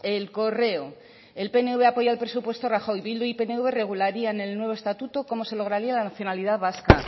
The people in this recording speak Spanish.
el correo el pnv aprueba el presupuesto a rajoy bildu y pnv regularían el nuevo estatuto cómo se lograría la nacionalidad vasca